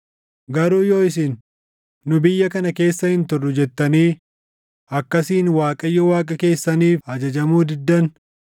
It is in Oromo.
“Garuu yoo isin, ‘Nu biyya kana keessa hin turru’ jettanii akkasiin Waaqayyo Waaqa keessaniif ajajamuu diddan,